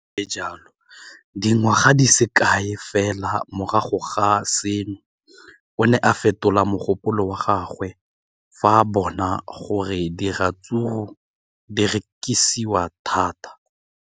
Le fa go le jalo, dingwaga di se kae fela morago ga seno, o ne a fetola mogopolo wa gagwe fa a bona gore diratsuru di rekisiwa thata.